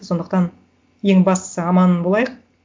сондықтан ең бастысы аман болайық